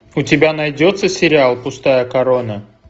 у тебя найдется сериал пустая корона